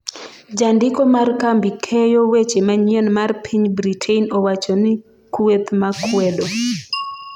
jandiko mar kambi keyo weche manyien mar piny Britain owacho ni kweth makwedo